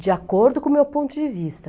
de acordo com o meu ponto de vista.